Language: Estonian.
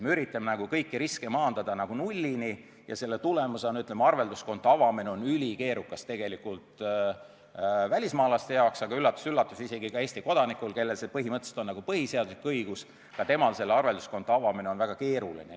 Me üritame kõiki riske maandada nullini ja selle tulemusena on arvelduskonto avamine ülikeerukas välismaalasel, aga, üllatus-üllatus, ka Eesti kodanikul, kellel see põhimõtteliselt on nagu põhiseaduslik õigus, aga ka temal on arvelduskonto avamine väga keeruline.